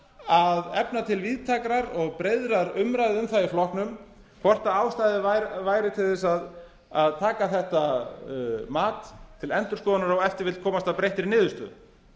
að efna til víðtækrar og breiðrar umræðu um það í flokknum hvort ástæða væri til að taka þetta mat til endurskoðunar og ef til vill komast að breyttri niðurstöðu